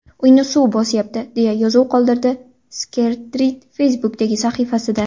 Uyni suv bosyapti”, deya yozuv qoldirdi Skerrit Facebook’dagi sahifasida.